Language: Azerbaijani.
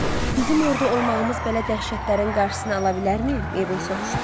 Bizim orda olmağımız belə dəhşətlərin qarşısını ala bilərmi, Meybel soruşdu.